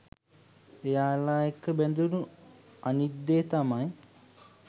එයාල එක්ක බැදුනු අනිත් දේ තමයි